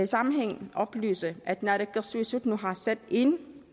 sammenhæng oplyse at naalakkersuisut nu har sat ind